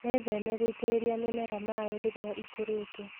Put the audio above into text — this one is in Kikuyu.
Wĩtheme gũitĩrĩria mĩmera maaĩ rĩrĩa ikũrĩte.